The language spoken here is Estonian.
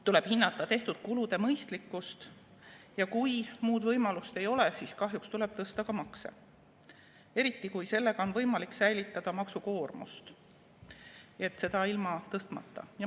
Tuleb hinnata tehtud kulude mõistlikkust ja kui muud võimalust ei ole, siis kahjuks tuleb tõsta ka makse, eriti kui sellega on võimalik säilitada maksukoormust seda tõstmata.